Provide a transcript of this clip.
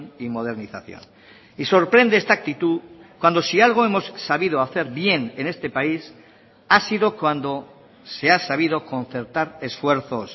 y modernización y sorprende esta actitud cuando si algo hemos sabido hacer bien en este país ha sido cuando se ha sabido concertar esfuerzos